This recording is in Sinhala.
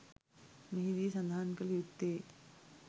මෙහිදී සඳහන් කළ යුත්තේ